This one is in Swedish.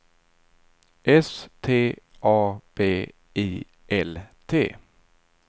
S T A B I L T